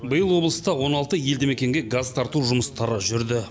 биыл облыста он алты елді мекенге газ тарту жұмыстары жүрді